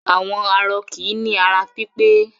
Àwọn arọ kì í ní ara pípẹ́.